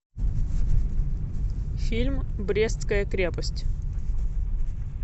фильм брестская крепость